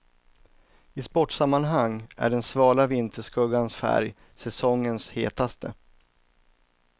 I sportsammanhang är den svala vinterskuggans färg säsongens hetaste.